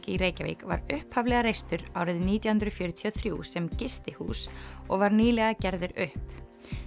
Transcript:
í Reykjavík var upphaflega reistur árið nítján hundruð fjörutíu og þrjú sem gistihús og var nýlega gerður upp